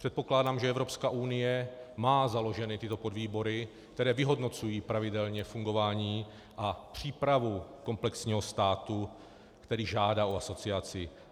Předpokládám, že Evropská unie má založeny tyto podvýbory, které vyhodnocují pravidelně fungování a přípravu komplexního státu, který žádá o asociaci.